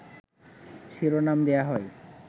শিরোনাম দেয়া হয়